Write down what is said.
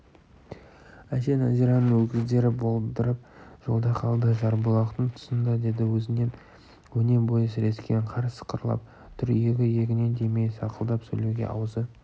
әже нәзираның өгіздері болдырып жолда қалды жарбұлақтың тұсында деді өзінің өне бойы сірескен қар сықырлап тұр иегі-иегіне тимей сақылдап сөйлеуге аузы